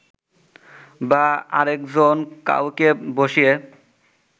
বা আরেকজন কাউকে বসিয়ে